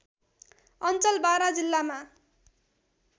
अञ्चल बारा जिल्लामा